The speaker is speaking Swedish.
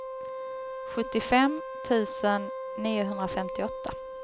sjuttiofem tusen niohundrafemtioåtta